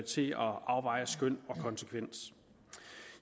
til at afveje skøn og konsekvens